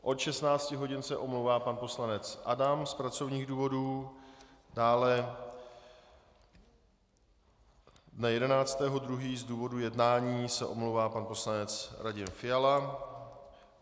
Od 16 hodin se omlouvá pan poslanec Adam z pracovních důvodů, dále dne 11. 2. z důvodu jednání se omlouvá pan poslanec Radim Fiala.